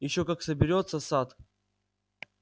ещё как соберётся сатт